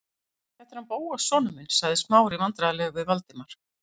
Þetta er hann Bóas sonur minn- sagði Smári vandræðalegur við Valdimar.